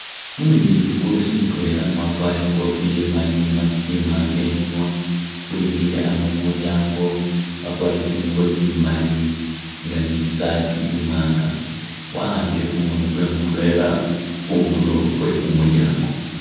Umulindi lukoosi mutwela nga wakwarile ikoofila imaali ni mask imwanga imunwa wemile ano mulyango wakwarile tsingubo tsimaali nga ni tsisaat imwanga wahambile kumukono kwe mutwela khundulo khwe kumulyango.